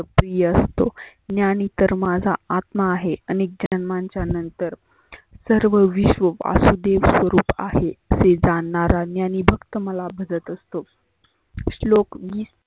प्रिय असतो. ज्ञानी तर माझा आत्मा आहे आनेक जन्मांच्या नंतर सर्व विश्व वासुदेव स्वरुप आहे. असे जाननारा ज्ञानी भक्त मला भगत असतो. श्लोक विस